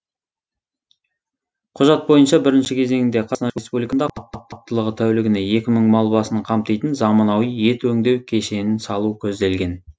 құжат бойынша бірінші кезеңінде қазақстан республикасында қуаттылығы тәулігіне екі мың мал басын қамтитын заманауи ет өңдеу кешенін салу көзделген